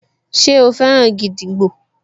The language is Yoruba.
Ṣe o fẹ́ràn gídígbò?